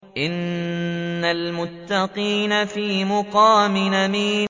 إِنَّ الْمُتَّقِينَ فِي مَقَامٍ أَمِينٍ